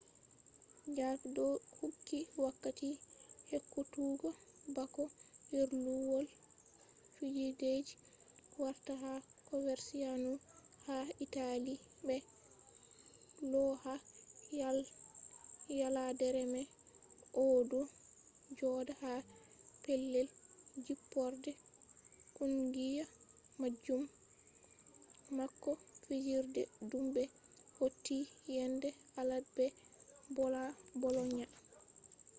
jarque do kuuki wakkati ekkutuggo bako firluwol fijideji warta ha coverciano ha italy be lau ha yaladere mai. o do joda ha pellel jipporde kungiya majum bako fijirde dum be hauti yende alad be bolonia